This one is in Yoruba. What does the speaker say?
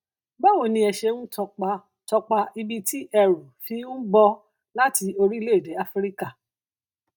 báwo ni ẹ ṣe ń tọpa tọpa ibi tí ẹrù fi ń bọ láti orílẹ èdè áfíríkà